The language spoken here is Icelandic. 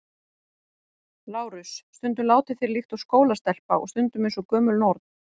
LÁRUS: Stundum látið þér líkt og skólastelpa og stundum eins og gömul norn.